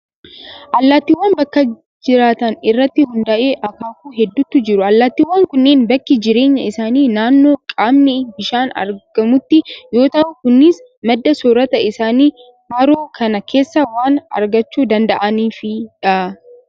Allaattiiwwan bakka jiraatan irratti hundaa'ee akaakuu hedduutu jiru. Allaattiiwwan kunneen bakki jireenya isaanii naannoo qaamni bishaanii argamutti yoo ta'u, kunis madda soorata isaanii haroo kana keessaa waan argachuu danda'aniifi dha.